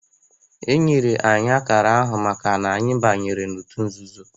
Enyere anyị akara ahụ maka na anyị banyere otu nzuzo